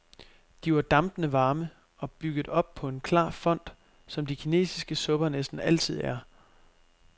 De var dampende varme og bygget op på en klar fond, som de kinisiske supper næsten altid er.